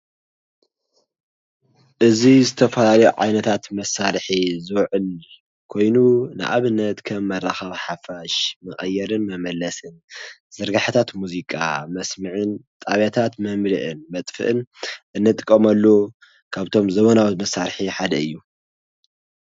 እዚ ዝተፈላለዩ ዓይነታት መሳርሒ ዝዉዕል ኮይኑ፣ ንኣብነት ከም መራከቢ ሓፋሽ መቀየርን መመለስን፣ ዝርገሐታት ሙዚቃ መስምዕን፣ ጣብያታት መምልእን መጥፍእን፣ እንጥቀመሉ ካብቶም ዘበናዊ መሳርሒ ሓደ እዩ።